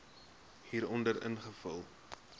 hieronder invul